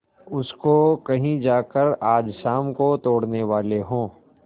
उसको कहीं जाकर आज शाम को तोड़ने वाले हों